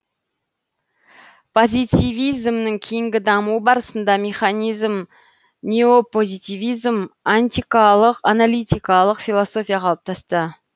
позитивизмнің кейінгі дамуы барысында механизм неопозитивизм аналитикалық философия қалыптасты